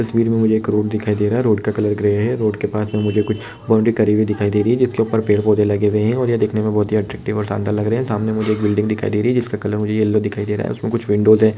इस तस्वीर मे मुझे एक रोड दिखाई दे रहा है रोड का कलर ग्रे है रोड के पास मुझे कुछ बाउंडरी करी हुई दिखाई दे रही है जिसके ऊपर पेड़-पौधे लगे हुए है ये देखने मे बोहत अट्रेक्टिव और शानदार लग रहा है सामने मुझे एक बिल्डिंग दिखाई दे रही हैजिसका कलर मुझे येल्लो दिखाई दे रहा है उसमे कुछ विंडोज है ।